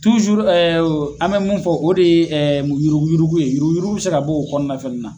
an bɛ mun fɔ o de ye yuruguyurugu ye yuruguyurugu bɛ se ka bo o kɔnɔna fɛnɛ na.